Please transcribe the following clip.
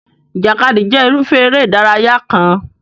Ìjàkadì jẹ́ irúfẹ́ eré ìdárayá kan.